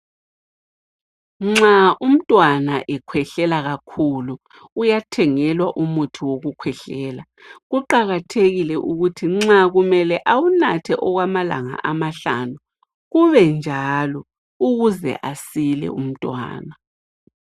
Nxa umntwana ekhwehlela kakhulu uyathengelwa umuthi wokukhwehlela kuqakathekile ukuthi nxa kumele ewunathe okwamalanga amahlanu kube njalo ukuze asile umtwana